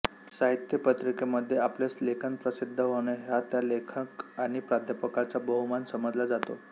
साहित्य पत्रिकेमध्ये आपले लेखन प्रसिद्ध होणे हा त्या लेखक आणि प्राध्यापकाचा बहुमान समजला जातो